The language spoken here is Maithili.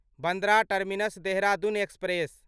Bandra terminus Dehradun express